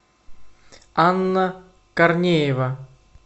анна корнеева